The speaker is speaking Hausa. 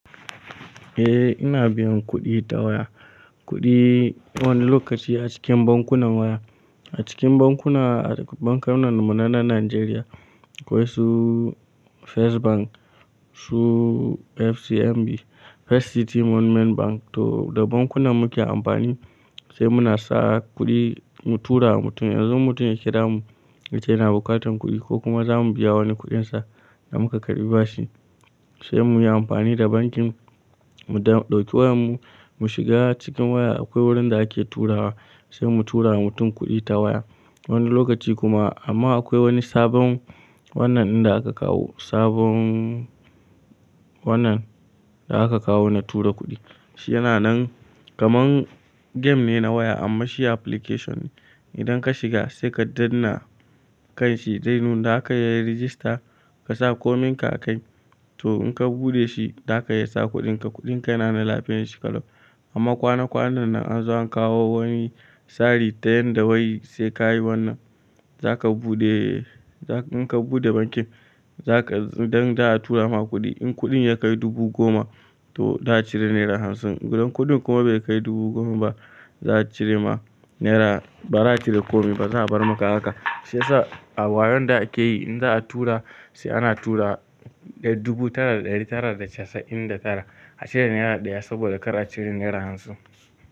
Eh ina biyan kuɗi ta waya. Kuɗi wani lokaci a cikin bankunan waya. A cikin bankuna, bankunan munanan Najeriya, akwai su First Bank, su FCMB, First City Monument Bank. To da bankunan muke amfani sai muna sa kuɗi mu tura wa mutum. Yanzu in mutum ya kira mu, yace yana bukatan kuɗi ko kuma za mu biya wani kuɗinsa da muka karɓi bashi, sai mu yi amfani da bankin mu ɗauki wayar mu, mu shiga cikin waya akwai wurin da ake turawa, sai mu tura wa mutum kuɗi ta waya. Wani lokaci kuma amma akwai wani sabon wannan inda aka kawo, sabon wannan da aka kawo na tura kuɗi. Shi yana nan kamar game ne na waya amma shi application ne. Idan ka shiga sai ka ɗanna kanshi zai nun daka iyayin register ka sa kominka a kai. To in ka buɗe shi za ka iya sa kuɗinka. Kuɗinka yana na lafiyar shi ƙalau. Amma kwana kwanan nan an zo an kawo wani tsari ta yanda wai sai ka yi wannan. Za ka buɗe, in ka buɗe bankin za ka, idan za a tura ma kuɗi, in kuɗin ya kai dubu goma to za a cire naira hamsin. Idan kuɗin kuma bai kai dubu goma ba za a cire ma naira, ba za a cire komai ba, ba za a bar maka haka. Shiya sa a wayon da ake yi in za a tura sai ana tura dubu tara da ɗari tara da casa'in da tara a cire naira ɗaya saboda kar a cire naira hamsin.